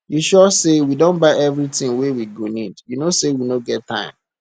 you sure say we don buy everything we go needyou no say we no get time